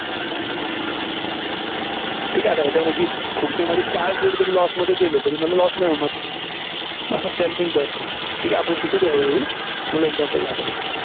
ठीक आहे, आता याच्यापैकी पुढचे माझे चार trade जरी loss मध्ये गेले तरी मला loss नाही होणार. असं scalping चं असतं. ठीक आहे, आपण शिकू ते हळूहळू, तुम्हाला example दाखवतो.